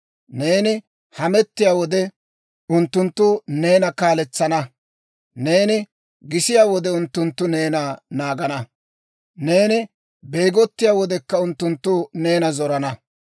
Neeni hamettiyaa wode, unttunttu neena kaaletsana; neeni gisiyaa wode, unttunttu neena naagana; neeni beegottiyaa wodekka, unttunttu neena zorana.